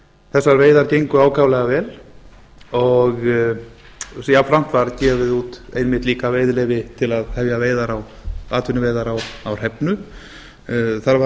þessar veiðar gengu ákaflega vel og jafnframt var gefið út einmitt líka veiðileyfi til að hefja atvinnuveiðar á hrefnu það var